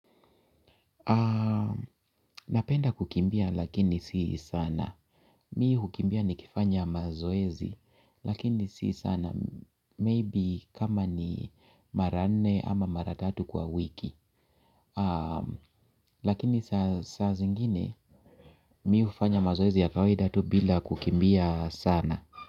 Napenda kukimbia lakini si sana. Mi hukimbia nikifanya mazoezi lakini si sana. Maybe kama ni mara nne ama mara tatu kwa wiki. Lakini saa zingine mi hufanya mazoezi ya kawaida tu bila kukimbia sana.